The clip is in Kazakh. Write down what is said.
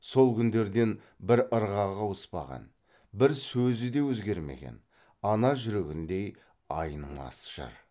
сол күндерден бір ырғағы ауыспаған бір сөзі де өзгермеген ана жүрегіндей айнымас жыр